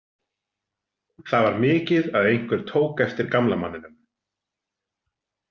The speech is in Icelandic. Það var mikið að einhver tók eftir gamla manninum.